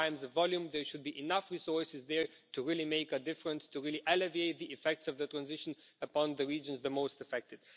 In terms of volume, there should be enough resources there to really make a difference, to really alleviate the effects of the transition upon the regions the most affected.